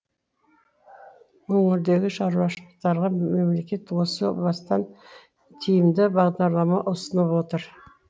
өңірдегі шаруашылықтарға мемлекет осы бастан тиімді бағдарлама ұсынып отыр